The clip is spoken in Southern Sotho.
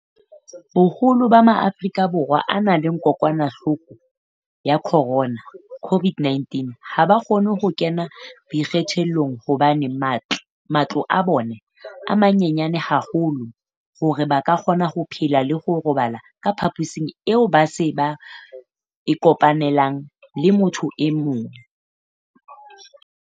Boholo ba Maafrika Borwa a nang le kokwanahloko ya corona, COVID-19, ha ba kgone ho kena boikgethollong hobane matlo a bona a manyenyana haholo hore ba ka kgona ho phela le ho robala ka phaposing eo ba sa e kopanelang le motho e mong.